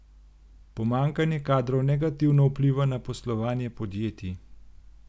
Pomanjkanje kadrov negativno vpliva na poslovanje podjetij.